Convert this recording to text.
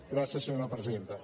gràcies senyora presidenta